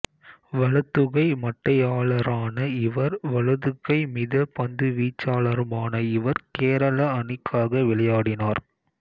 வலதுகை மட்டையாளரான இவர் வலதுகை மித பந்துவீச்சாளருமான இவர் கேரள அணிக்காக விளையாடினார்